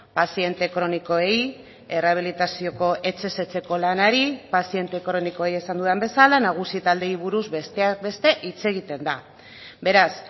paziente kronikoei errehabilitazioko etxez etxeko lanari paziente kronikoei esan dudan bezala nagusi taldeei buruz besteak beste hitz egiten da beraz